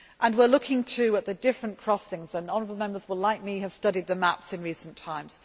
We are looking too at the different crossings, and honourable Members will, like me, have studied the maps in recent times.